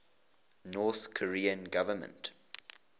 north korean government